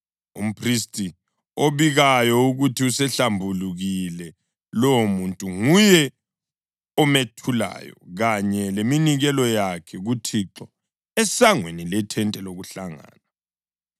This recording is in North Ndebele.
Umphristi obikayo ukuthi usehlambulukile lowomuntu nguye omethulayo kanye leminikelo yakhe kuThixo esangweni lethente lokuhlangana.